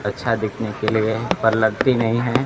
अच्छा दिखने के लिए पर लगती नहीं है।